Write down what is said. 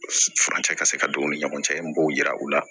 Furancɛ ka se ka don u ni ɲɔgɔn cɛ n b'o yira u la